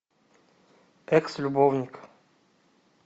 экс любовник